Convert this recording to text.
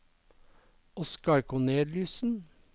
Oscar Korneliussen